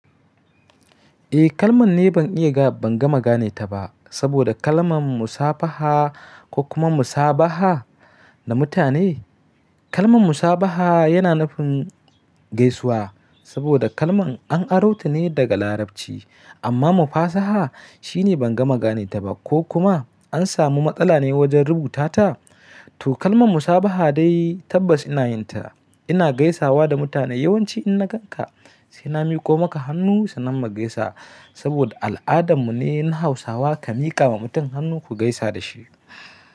Eh kalman ne ban iya, ban gama gane ta ba saboda kalman musafaha ko kuma musabaha da mutane. Kalman musabaha yana nufin gaisuwa saboda kalman an aro ta ne daga Larabci. Amma mufasaha shine ban gama gane ta ba ko kuma an samu matsala ne wajen rubuta ta, to kalman musabaha dai tabbas ina yin ta. Ina gaisawa da mutane yawanci in na ganka sai na miƙo maka hannu sanan mu gaisa saboda al'adan mu ne na Hausawa ka miƙa wa mutum hannu ku gaisa da shi.